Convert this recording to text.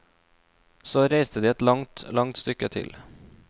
Så reiste de et langt, langt stykke til.